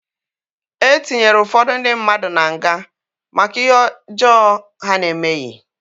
E tinyere ụfọdụ ndị mmadụ na nga maka ihe ọjọọ ha na-emeghị